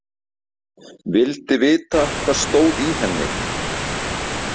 Vildi vita hvað stóð í henni.